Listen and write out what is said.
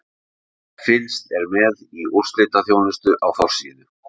Fylgst er með í úrslitaþjónustu á forsíðu.